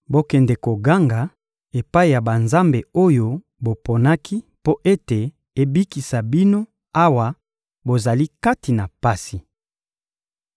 Bokende koganga epai ya banzambe oyo boponaki mpo ete ebikisa bino awa bozali kati na pasi.